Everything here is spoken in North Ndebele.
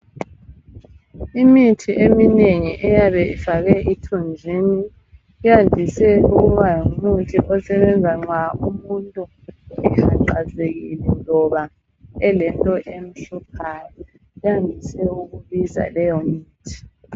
Imithi eminingi eyabe ifakwe ithunjwini iyandise ukuba ngumuthi osebenza nxa umuntu ehaqazekile loba elento emhluphayo uyangise ukufaka leyomithi.